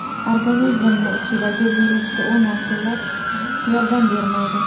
Organizmni ichidagi virusga u narsalar yordam bermaydi.